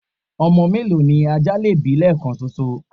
ọmọ mélòó ni ajá lè bí lẹẹkan ṣoṣo?